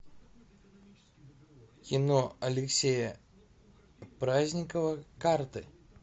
кино алексея праздникова карты